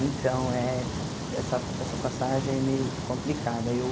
Então, eh essa essa passagem é meio complicada. Eu